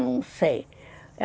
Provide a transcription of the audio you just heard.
Eu não sei.